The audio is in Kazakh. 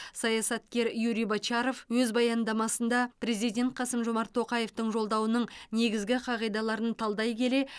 саясаткер юрий бочаров өз баяндамасында президент қасым жомарт тоқаевтың жолдауының негізгі қағидаларын талдай келе